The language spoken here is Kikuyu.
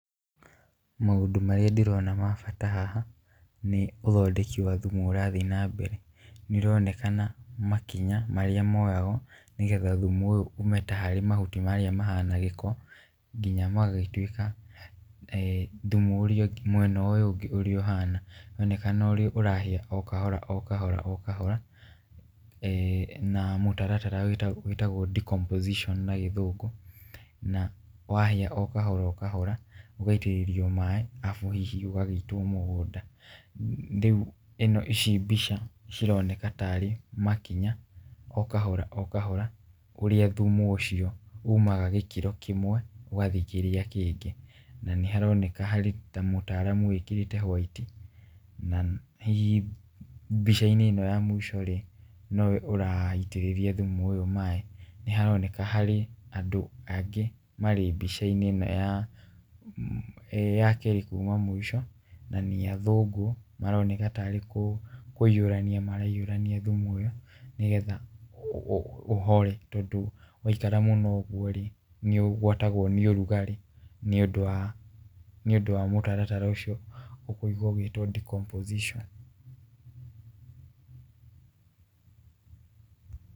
Maũndũ marĩa ndĩrona ma bata haha, nĩ ũthondeki wa thumu ũrathiĩ na mbere, nĩ ĩronekana makinya marĩa moyagwo nĩgetha thumu ũyũ umĩte ta harĩ mahuti marĩa mahana gĩko nginya magĩtuĩka thumu ũrĩa ũngĩ, mwena ũyũ ũngĩ ũrĩa ũhana, ĩronekana ũrahĩa o kahora o kahora , na mũtaratara wĩtagwo decomposition na gĩthũngu, na wagĩa o kahora o kahora ũgaitĩrĩrio maaĩ arabu hihi ũgagĩitwo mũgũnda , rĩu ici mbica cironekana tarĩ makinya o kahora o kahora ũrĩa thumu ũcio umaga gĩkĩro kĩmwe ũgathiĩ kĩrĩa kĩngĩ , na nĩ haroneka harĩ tarĩ mũtaaramu wĩkĩrĩte white , na hihi mbica -inĩ ĩno ya mũico rĩ nowe ũraitĩrĩria thumu ũyũ maaĩ , nĩ haroneka harĩ andũ angĩ marĩ mbica-inĩ ĩno ya kerĩ kuma mũico, na nĩ athũngũ maroneka tarĩ kũiyũrania maiyũrania thumu ũyũ , nĩgetha ũhore tondũ waikara mũno ũgwo rĩ , nĩ ũgwatagwo nĩ ũrugarĩ nĩ ũndũ wa, nĩ ũndũ wa mũtaratara ũcio ũkũigwa ũgĩtwo [cs[ decomposition.